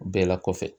Bɛɛ la kɔfɛ